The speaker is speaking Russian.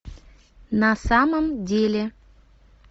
на самом деле